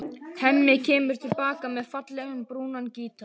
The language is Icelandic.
Hemmi kemur til baka með fallegan, brúnan gítar.